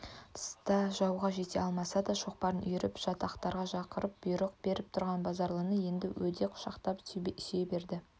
тыста жауға жете алмаса да шоқпарын үйіріп жатақтарға ақырып бұйрық беріп тұрған базаралыны енді өдек құшақтап сүйейберді